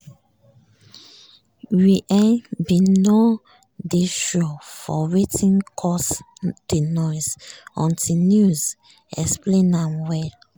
we um bin nor dey sure of wetin cause di noise until news um explain am well.